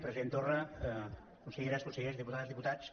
president torra conselleres consellers diputades diputats